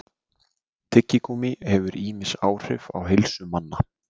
tyggigúmmí hefur ýmis áhrif á heilsu manna